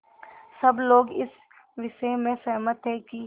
सब लोग इस विषय में सहमत थे कि